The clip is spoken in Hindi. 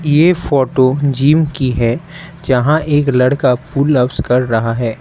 ये फोटो जिम की है जहां एक लड़का पुल अप्स कर रहा है।